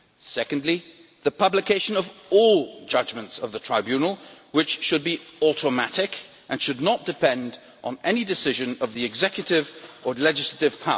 secondly, the publication of all judgments of the Tribunal, which should be automatic and should not depend on any decision of the executive or legislature